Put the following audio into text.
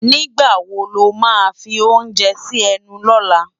Nigbá wó lá má fi óounjè si ènú lòlá?